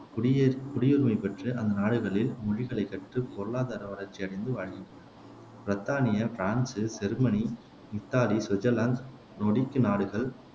குடிய குடியுரிமை பெற்று அந்நாடுகளின் மொழிகளைக் கற்று, பொருளாதார வளர்ச்சியடைந்து வாழ்கின்றனர் பிரித்தானியா, பிரான்சு, ஜெர்மனி, இத்தாலி, சுவிட்சர்லாந்து நாடுகள்